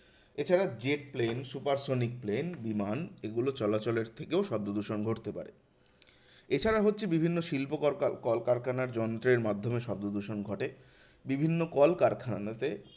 এছাড়া jet plane, supersonic plane বিমান এগুলো চলাচলের থেকেও শব্দদূষণ ঘটতে পারে। এছাড়া হচ্ছে বিভিন্ন শিল্প কল~ কলকারখানার যন্ত্রের মাধ্যমে শব্দদূষণ ঘটে। বিভিন্ন কলকারখানাতে